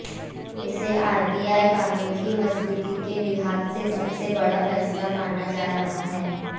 इसे आरटीआई कानून की मजबूती के लिहाज से बड़ा फैसला माना जा रहा है